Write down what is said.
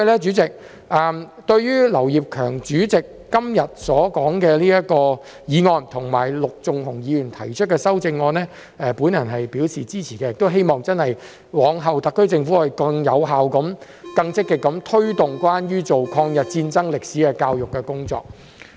主席，對於劉業強議員今天提出的議案及陸頌雄議員提出的修正案，我表示支持，亦希望日後特區政府真的會更有效及更積極地推動關於抗日戰爭歷史的教育工作。